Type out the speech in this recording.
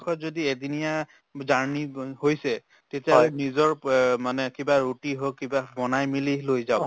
পৰাপক্ষত যদি এদিনীয়া journey হৈছে তেতিয়াহ'লে নিজৰ মানে কিবা ৰুটি হওক কিবা বনাই মিলি লৈ যাওক